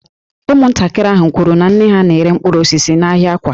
Ụmụntakịrị ahụ kwuru na nne ha na-ere mkpụrụ osisi n’ahịa Awka